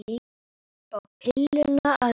Upp á pilluna að gera.